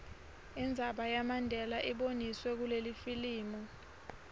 indzaba yamandela iboniswe kulelifilimu